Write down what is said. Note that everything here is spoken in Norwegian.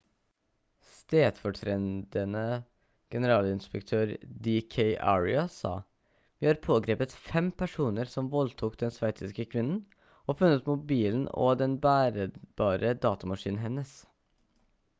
stedfortredende generalinspektør d k arya sa: «vi har pågrepet fem personer som voldtok den sveitsiske kvinnen og funnet mobilen og den bærbare datamaskinen hennes»